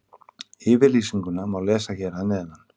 Yfirlýsinguna má lesa hér að neðan.